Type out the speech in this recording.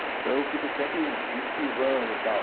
Então eu fico sempre me esquivando, tal.